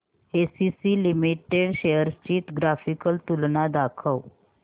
ACC limited shares ची graphical तुलना दाखव